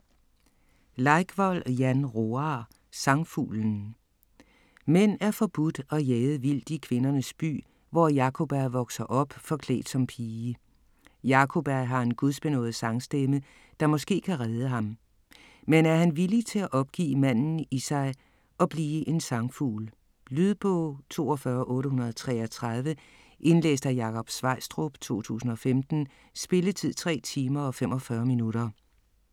Leikvoll, Jan Roar: Sangfuglen Mænd er forbudt og jaget vildt i kvindernes by, hvor Jakoba vokser op, forklædt som pige. Jakoba har en gudsbenådet sangstemme, der måske kan redde ham. Men er han villig til at opgive manden i sig og blive en sangfugl? Lydbog 42833 Indlæst af Jakob Sveistrup, 2015. Spilletid: 3 timer, 45 minutter.